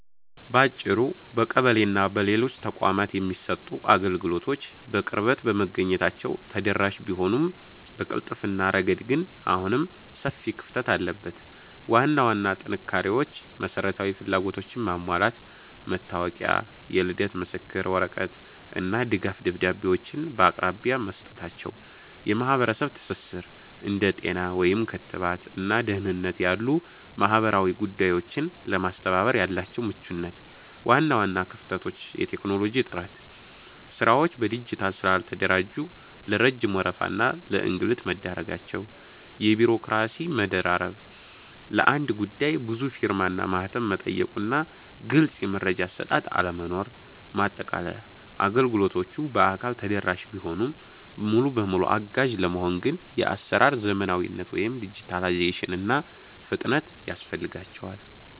ባጭሩ፣ በቀበሌና በሌሎች ተቋማት የሚሰጡ አገልግሎቶች በቅርበት በመገኘታቸው ተደራሽ ቢሆኑም፣ በቅልጥፍና ረገድ ግን አሁንም ሰፊ ክፍተት አለበት። ዋና ዋና ጥንካሬዎች መሰረታዊ ፍላጎቶችን ማሟላት፦ መታወቂያ፣ የልደት ምስክር ወረቀት እና ድጋፍ ደብዳቤዎችን በአቅራቢያ መስጠታቸው። የማህበረሰብ ትስስር፦ እንደ ጤና (ክትባት) እና ደህንነት ያሉ ማህበራዊ ጉዳዮችን ለማስተባበር ያላቸው ምቹነት። ዋና ዋና ክፍተቶች የቴክኖሎጂ እጥረት፦ ስራዎች በዲጂታል ስላልተደራጁ ለረጅም ወረፋ እና ለእንግልት መዳረጋቸው። የቢሮክራሲ መደራረብ፦ ለአንድ ጉዳይ ብዙ ፊርማና ማህተም መጠየቁና ግልጽ የመረጃ አሰጣጥ አለመኖር። ማጠቃለያ፦ አገልግሎቶቹ በአካል ተደራሽ ቢሆኑም፣ ሙሉ በሙሉ አጋዥ ለመሆን ግን የአሰራር ዘመናዊነት (ዲጂታላይዜሽን) እና ፍጥነት ያስፈልጋቸዋል።